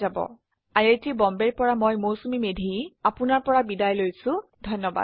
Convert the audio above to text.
আই আই T Bombay ৰ পৰা মই মৌচুমী মেধী এতিয়া আপুনাৰ পৰা বিদায় লৈছো যোগদানৰ বাবে ধন্যবাদ